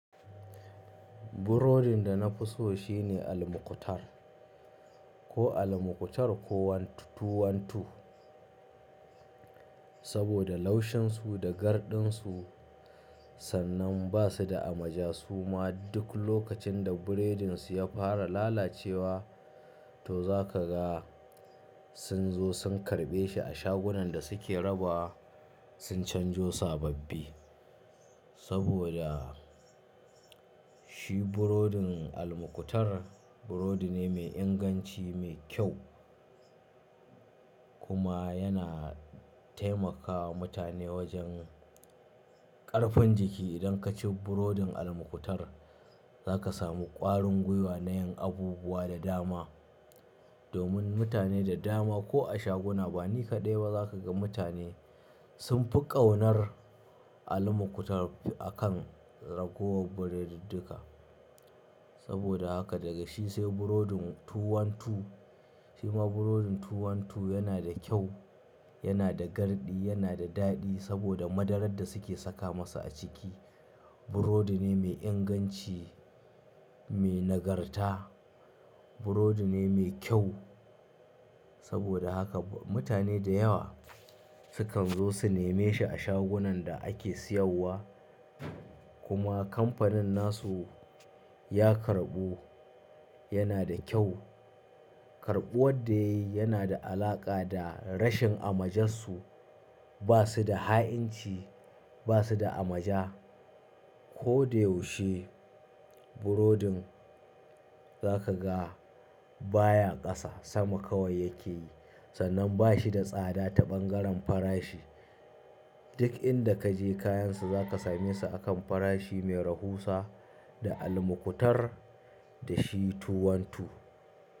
Burodin da na fi so shine almukutar, ko almukutar ko wani tuwantu. Saboda laushinsu da gardinsu, sannan ba su da amaja su ma duk lokacin da burodinsu ya fara lalacewa to za ka ga sun zo sun karɓe shi a shagunan da suke raba sun canjo sababbi. Saboda shi burodin almukutar burodi ne mai inganci, mai kyau kuma yana taimakawa mutane wajen ƙarfin jiki. Idan ka ci burodin almukutar za ka samu ƙwarin gwiwa na yin abubuwa da dama. Domin mutane da dama ko a shaguna bani kaɗai ba za ka ga mutane sun fi ƙaunar almukutar akan ragowar burodiduka. Saboda haka daga shi sai burodin tuwantu, shima burodin tuwantu yana da kyau, yana da garɗi, yana da daɗi saboda madarar da suke saka masa a ciki. Burodi ne mai inganci, mai nagarta, burodi ne mai kyau. Saboda haka mutane da yawa sukan zo su neme shi a shagunan da ake siyarwa. Kuma kamfanin nasu ya karɓu yana da kyau. Karɓuwar da yayi yana da alaƙa da rashin amajansu. Ba su da ha'inci, ba su da amaja. Ko da yaushe burodin za ka ga baya ƙasa sama kawai yake yi. Sannan ba shi da tsada ta ɓangaren farashi. Duk inda ka je kayan sa za ka same shi akan farashi mai rahusa da almukutar da shi tuwantu.